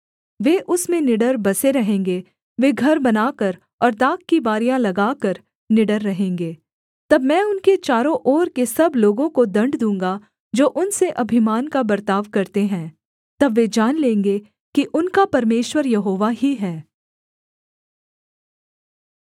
वे उसमें निडर बसे रहेंगे वे घर बनाकर और दाख की बारियाँ लगाकर निडर रहेंगे तब मैं उनके चारों ओर के सब लोगों को दण्ड दूँगा जो उनसे अभिमान का बर्ताव करते हैं तब वे जान लेंगे कि उनका परमेश्वर यहोवा ही है